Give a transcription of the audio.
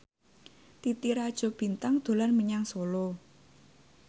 Titi Rajo Bintang dolan menyang Solo